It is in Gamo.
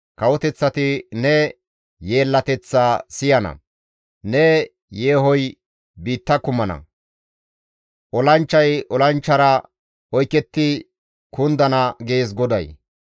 Kawoteththati ne yeellateththaa siyana; ne yeehoy biitta kumana; olanchchay olanchchara oyketti kundana» gees GODAY.